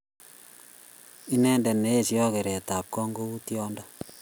Inendet ne eesyoi kereetap kong' ko uu tyondo .